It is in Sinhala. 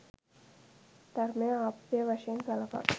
ධර්මය ආප්තය වශයෙන් සළකා